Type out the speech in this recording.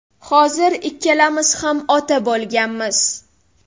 Hozir ikkalamiz ham ota bo‘lganmiz.